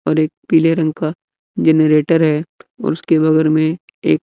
और एक पीले रंग का जनरेटर है उसके बगल में एक--